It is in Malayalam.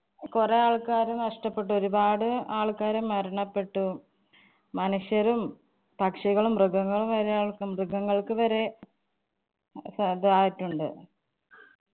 കൊറേ ആള്‍ക്കാരെ നഷ്ട്ടപ്പെട്ടു. ഒരുപാട് ആള്‍ക്കാര് മരണപ്പെട്ടു. മനുഷ്യരും പക്ഷികളും മൃഗങ്ങളും വരെ മൃഗങ്ങള്‍ക്ക് വരെ തായിട്ടുണ്ട്.